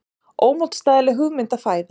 Ómótstæðileg hugmynd að fæðast.